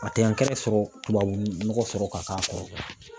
A tɛ sɔrɔ tubabu nɔgɔ sɔrɔ ka k'a kɔrɔ